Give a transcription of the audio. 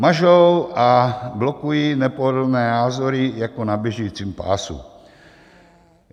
Mažou a blokují nepohodlné názory jako na běžícím pásu.